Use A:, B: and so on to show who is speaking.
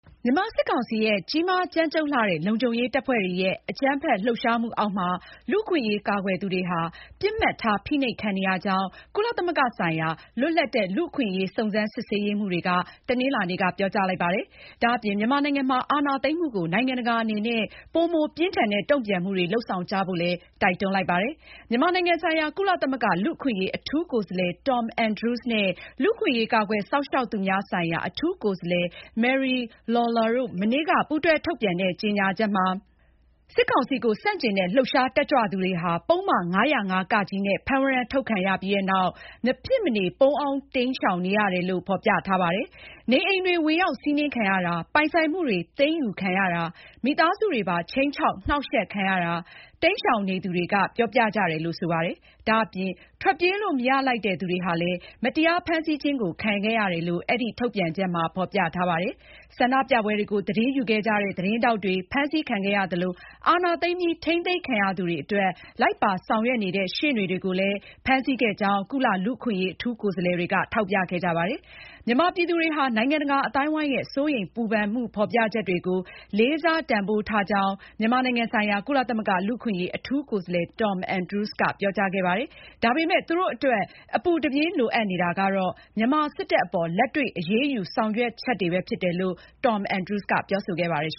A: မြန်မာစစ်ကောင်စီရဲ့ ကြီးမားကြမ်းကြုတ်လှတဲ့ လုံခြုံရေးတပ်ဖွဲ့တွေရဲ့ အကြမ်းဖက်လှုပ်ရှားမှုအောက်မှာ လူ့အခွင့်အရေးကာကွယ်သူတွေဟာ ပစ်မှတ်ထားဖိနှိပ်ခံနေရကြောင်း ကုလသမဂ္ဂဆိုင်ရာ လွတ်လပ်တဲ့ လူ့အခွင့်အရေးစုံစမ်းစစ်ဆေးရေးမှူးတွေက တနင်္လာနေ့က ပြောကြားလိုက်ပါတယ်။ ဒါအပြင် မြန်မာနိုင်ငံမှာ အာဏာသိမ်းမှုကို နိုင်ငံတကာအနေနဲ့ ပိုမိုပြင်းထန်တဲ့ တုန့်ပြန်မှုတွေ လုပ်ဆောင်ကြဖို့လည်း တိုက်တွန်းလိုက်ပါတယ်။ မြန်မာနိုင်ငံဆိုင်ရာ ကုလသမဂ္ဂလူ့အခွင့်အရေး အထူးကိုယ်စားလှယ် Tom Andrews နဲ့ လူ့အခွင့်အရေး ကာကွယ်စောင့်ရှောက်သူများဆိုင်ရာ အထူးကိုယ်စားလှယ် Mary Lawlor တို့ မနေ့က ပူးတွဲထုတ်ပြန်တဲ့ ကြေညာချက်မှာ စစ်ကောင်စီကို ဆန့်ကျင်တဲ့ လှုပ်ရှားတက်ကြွသူတွေဟာ ပုဒ်မ ၅၀၅ (က) နဲ့ ဖမ်းဝရမ်းထုတ်ခံရပြီးနောက် မဖြစ်မနေ ပုန်းအောင်းရှောင်တိမ်းနေရတယ်လို့ ဖေါ်ပြထားပါတယ်။ နေအိမ်တွေ ဝင်ရောက်စီးနင်းခံရတာ၊ ပိုင်ဆိုင်မှုတွေ သိမ်းယူခံရတာ၊ မိသားစုဝင်တွေပါ ခြိမ်းခြောက်၊ နှောင့်ယှက်ခံရကြောင်း ရှောင်တိမ်းနေသူတွေက ပြောပြကြတယ်လို့ ဆိုပါတယ်။ ဒါအပြင် ထွက်ပြေးလို့ မရလိုက်တဲ့ သူတွေဟာလည်း မတရားဖမ်းဆီးခြင်းခံခဲ့ရတယ်လို့ အဲဒီထုတ်ပြန်ချက်မှာ ဖေါ်ပြထားပါတယ်။ ဆန္ဒပြပွဲတွေကို သတင်းယူခဲ့ကြတဲ့ သတင်းထောက်တွေ ဖမ်းဆီးခဲ့သလို၊ အာဏာသိမ်းပြီး ထိန်းသိမ်းခံရသူတွေအတွက် လိုက်ပါဆောင်ရွက်နေတဲ့ ရှေ့နေတွေကိုလည်း ဖမ်းဆီးခဲ့ကြာင်း ကုလ လူ့အခွင့်အရေး အထူးကိုယ်စားလှယ်တွေရဲ့ ကြေညာချက်က ဆိုပါတယ်။ မြန်မာပြည်သူတွေဟာ နိုင်ငံတကာအသိုင်းအဝိုင်းရဲ့ စိုးရိမ်ပူပန်မှုဖေါ်ပြချက်တွေကို လေးစားတန်ဖိုးထားကြောင်း မြန်မာနိုင်ငံဆိုင်ရာ ကုလသမဂ္ဂလူ့အခွင့်အရေး အထူးကိုယ်စားလှယ် Tom Andrews ကပြောကြားခဲ့ပါတယ်။ ဒါပေမဲ့ သူတို့အတွက် အပူတပြင်းလိုအပ်နေတာက မြန်မာစစ်တပ်အပေါ် လက်တွေ့အရေးယူဆောင်ရွက်ချက်တွေပဲဖြစ်တယ်လို့ Tom Andrews ကပြောဆိုခဲ့ပါတယ်။